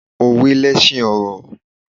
Òwe lẹsin ọ̀rọ̀